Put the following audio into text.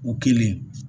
U kelen